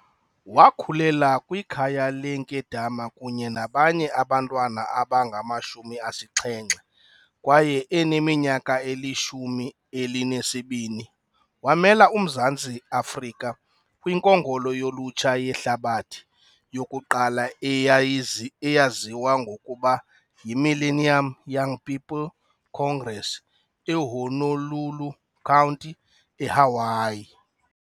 Wakhulela kwikhaya leenkedama kunye nabanye abantwana abangama-70 kwaye eneminyaka elishumi elinesibini wamela uMzantsi Afrika kwiNkongolo yoLutsha yeHlabathi yokuqala eyaziwa ngokuba yiMillennium Young People's Congress eHonolulu County, eHawaii.